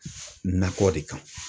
Nakɔ de kan.